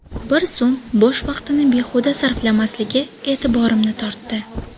Bir zum bo‘sh vaqtini behuda sarflamasligi e’tiborimni tortdi.